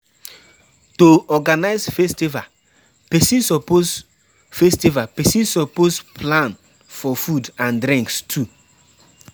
To Organize festival persin suppose festival persin suppose plan for food and drinks too